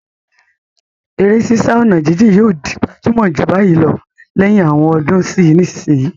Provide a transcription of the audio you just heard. Eré sísá ọ̀nà jíjìn yóò di gbajúmọ̀ jù báyìí lọ lẹ́yìn àwọn ọdún sí ìsinsìnyí.